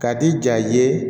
Ka di ja ye